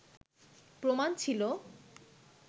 প্রমাণ ছিল